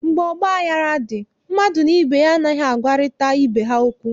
Mgbe ọgbaghara dị, mmadụ na ibe ya anaghị agwarịta ibe ha okwu